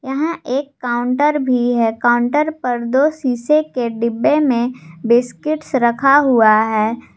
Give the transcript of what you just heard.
यहां एक काउंटर भी है काउंटर पर दो शीशे के डिब्बे में बिस्किट्स रखा हुआ है।